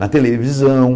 Na televisão.